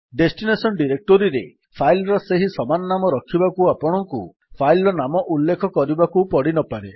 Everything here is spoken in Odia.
ଡେଷ୍ଟିନେସନ୍ ଡିରେକ୍ଟୋରୀରେ ଫାଇଲ୍ ର ସେହି ସମାନ ନାମ ରଖିବାକୁ ଆପଣଙ୍କୁ ଫାଇଲ୍ ନାମ ଉଲ୍ଲେଖ କରିବାକୁ ପଡିନପାରେ